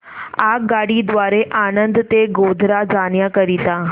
आगगाडी द्वारे आणंद ते गोध्रा जाण्या करीता